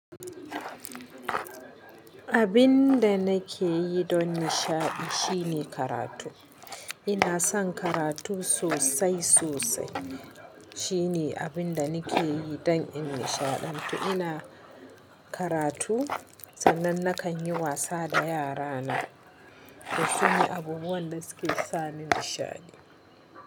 Abin da nake yi don nishaɗi shine karatu. Ina son karatu sosai sosai. Shine abin da nike yi dan in nishaɗantu. Ina karatu sannan nakan yi wasa da yara na. To shine abubuwan da suke sani nishaɗi.